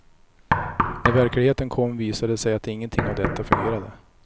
När verkligheten kom visade det sig att ingenting av detta fungerade.